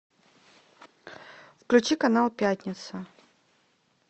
включи канал пятница